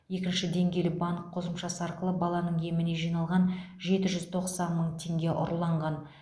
екінші деңгейлі банк қосымшасы арқылы баланың еміне жиналған жеті жүз тоқсан мың теңге ұрланған